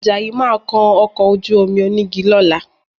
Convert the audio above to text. Àjàyí máa kan ọkọ̀ ojú-omi onígi lọ́la